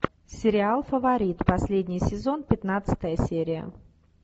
сериал фаворит последний сезон пятнадцатая серия